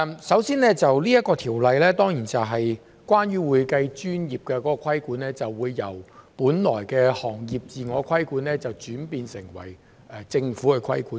首先，《條例草案》是關於會計專業的規管，由本來的行業自我規管轉變成為政府規管。